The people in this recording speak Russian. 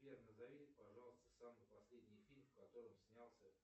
сбер назови пожалуйста самый последний фильм в котором снялся